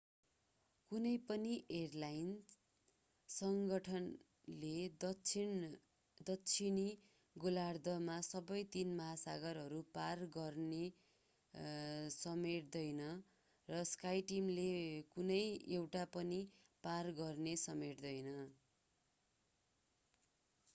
कुनै पनि एयरलाइन सङ्गठनले दक्षिणी गोलार्द्धमा सबै तीन महासागरहरू पार गर्ने समेट्दैन र skyteam ले कुनै एउटा पनि पार गर्ने समेट्दैन।